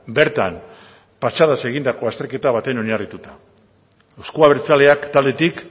bertan patxadaz egindako azterketa batean oinarrituta euzko abertzaleak taldetik